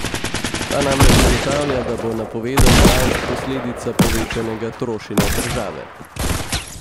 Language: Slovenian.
Ta namreč ugotavlja, da bo napovedana rast posledica povečanega trošenja države.